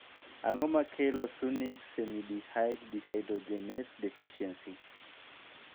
Ang'o makelo succinic semialdehyde dehydrogenase deficiency?